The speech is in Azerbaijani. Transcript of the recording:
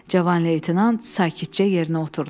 Cavan leytenant sakitcə yerinə oturdu.